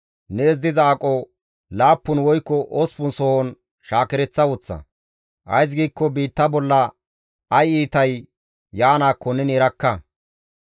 Nees diza aqo laappun woykko osppun sohon shaakereththa woththa; ays giikko biitta bolla ay iitay yaanaakko neni erakka.